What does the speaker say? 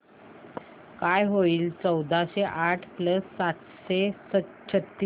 काय होईल चौदाशे आठ प्लस सातशे छ्त्तीस